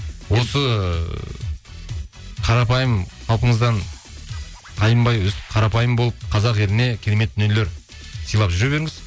осы қарапайым қалпыңыздан тайынбай өстіп қарапайым болып қазақ еліне керемет дүниелер сыйлап жүре беріңіз